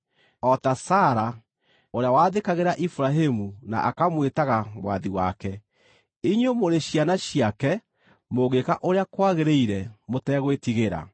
o ta Sara, ũrĩa waathĩkagĩra Iburahĩmu na akamwĩtaga mwathi wake. Inyuĩ mũrĩ ciana ciake mũngĩĩka ũrĩa kwagĩrĩire mũtegwĩtigĩra.